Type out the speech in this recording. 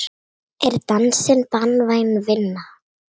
Er dansinn barnvæn vinna?